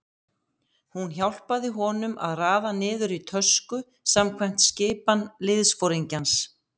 Hún hjálpaði honum að raða niður í tösku samkvæmt skipan liðsforingjans.